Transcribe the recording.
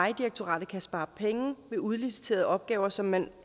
vejdirektoratet kan spare penge ved udliciterede opgaver som man